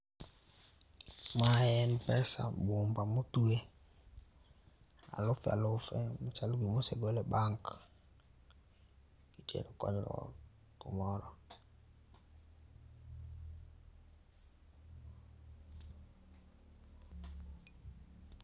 Ma en pesa bumba motwe alufe alufe ma chalo gima osegol e bank Itero kumoro